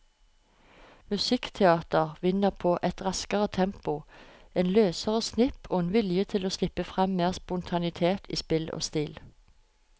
Musikkteater vinner på et raskere tempo, en løsere snipp og en vilje til å slippe frem mer spontanitet i spill og stil.